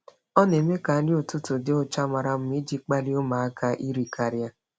Ọ na-eme ka nri ụtụtụ dị ụcha mara mma iji kpalie ụmụaka iri karịa.